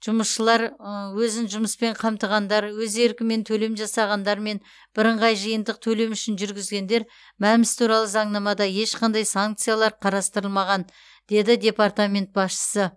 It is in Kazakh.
жұмысшылар өзін жұмыспен қамтығандар өз еркімен төлем жасағандар мен бірыңғай жиынтық төлем үшін жүргізгендер мәмс туралы заңнамада ешқандай санкциялар қарастырылмаған деді департамент басшысы